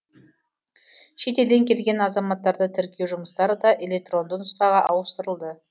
шетелден келген азаматтарды тіркеу жұмыстары да электронды нұсқаға ауыстырылды